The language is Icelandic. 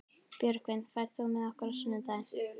Björgvin, ferð þú með okkur á sunnudaginn?